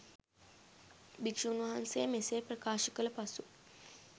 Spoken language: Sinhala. භික්ෂූන් වහන්සේ මෙසේ ප්‍රකාශ කළ පසු